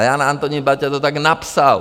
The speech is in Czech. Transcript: A Jan Antonín Baťa to tak napsal.